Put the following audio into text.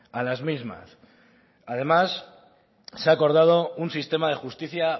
a las mismas además se ha acordado un sistema de justicia